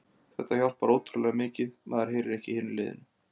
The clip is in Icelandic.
Þetta hjálpar ótrúlega mikið, maður heyrir ekki í hinu liðinu.